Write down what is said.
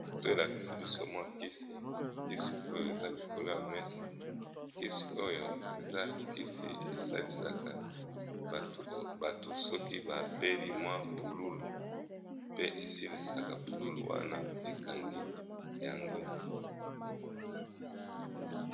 Foto elakisi biso mwa kisi, kisi oyo eza likolo ya mesa kisi oyo eza kisi esalisaka bato soki ba beli mwa pululu pe esilisaka pululu wana ekangi yango.